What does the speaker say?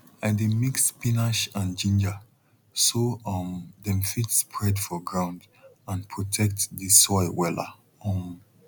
i dey mix spinach and ginger so um dem fit spread for ground and protect the soil wella um